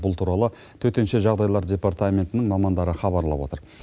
бұл туралы төтенше жағдайлар департаментінің мамандары хабарлап отыр